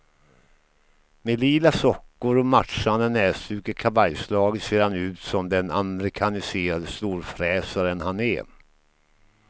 Med lila sockor och matchande näsduk i kavajslaget ser han ut som den amerikaniserade storfräsaren han är.